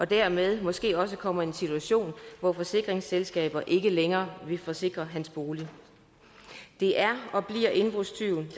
dermed måske også kommer i den situation at forsikringsselskabet ikke længere vil forsikre hans bolig det er og bliver indbrudstyven